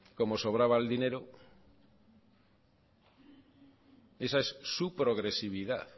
como sobraba el dinero esa es su progresividad